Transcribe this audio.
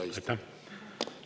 Aitäh!